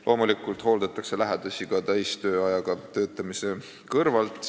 Loomulikult hooldatakse lähedasi ka täistööajaga töötamise kõrvalt.